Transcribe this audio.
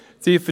Ziffer